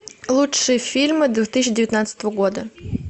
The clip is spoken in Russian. лучшие фильмы две тысячи девятнадцатого года